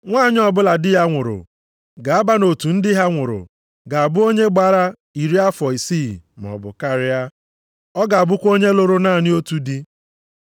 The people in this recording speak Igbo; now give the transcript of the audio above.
Nwanyị ọbụla di ya nwụrụ ga-aba nʼotu ndị di ha nwụrụ ga-abụ onye gbara iri afọ isii maọbụ karịa. Ọ ga-abụkwa onye lụrụ naanị otu di.